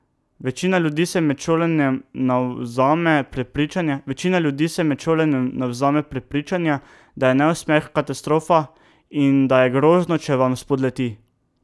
Večina ljudi se med šolanjem navzame prepričanja, da je neuspeh katastrofa in da je grozno, če vam spodleti.